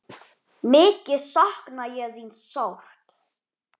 Mikið sakna ég þín sárt.